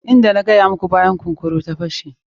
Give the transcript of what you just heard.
Inda na gaya muku yadda bayan kunkura ta fashe.